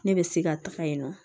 Ne bɛ se ka taga yen nɔ